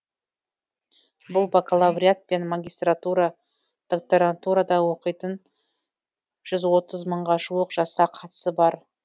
бұл бакалавриат пен магистратура докторантурада оқитын жүз отыз мыңға жуық жасқа қатысы бар